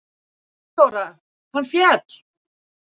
THEODÓRA: Hann féll!